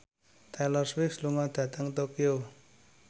Taylor Swift lunga dhateng Tokyo